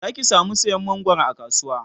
Zaki samu sayan mangwaron a kasuwa